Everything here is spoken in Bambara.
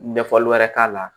Ɲɛfɔli wɛrɛ k'a la